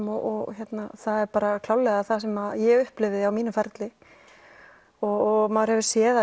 og það er klárlega það sem ég upplifði á mínum ferli og maður hefur séð það